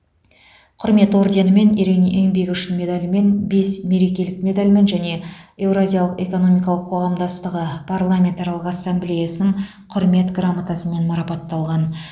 құрмет орденімен ерен еңбегі үшін медалімен бес мерекелік медальмен және еуразиялық экономикалық қоғамдастығы парламентаралық ассамблеясының құрмет грамотасымен марапатталған